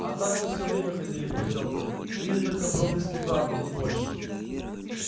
а так мы всё время ходили в потёмках видя только проблески правды не больше